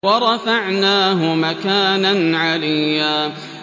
وَرَفَعْنَاهُ مَكَانًا عَلِيًّا